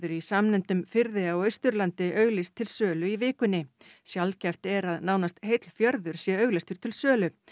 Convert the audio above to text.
í samnefndum firði á Austurlandi auglýst til sölu í vikunni sjaldgæft er að nánast heill fjörður sé auglýstur til sölu